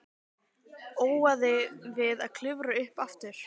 Óaði við að klifra upp aftur.